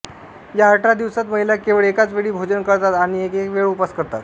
या अठरा दिवसात महिला केवळ एकाच वेळी भोजन करतात आणि एकवेळ उपवास करतात